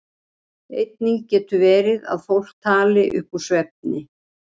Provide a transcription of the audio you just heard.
Einnig getur verið að fólk tali upp úr svefni.